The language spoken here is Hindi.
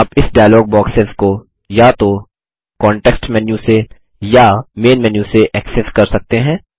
आप इस डायलॉग बॉक्सेस को या तो कांटेक्स्ट मेन्यू से या मैन मेन्यू से ऐक्सेस कर सकते हैं